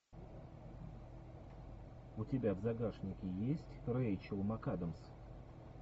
у тебя в загашнике есть рэйчел макадамс